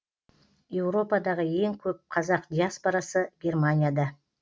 еуропадағы ең көп қазақ диаспорасы германияда